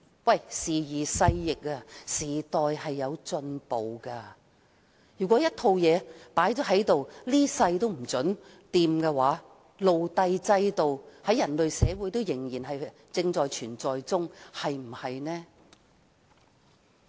可是，時移勢易，時代不斷進步，如果一套制度永遠不能更改，那麼人類社會仍然會有奴隸制度，對嗎？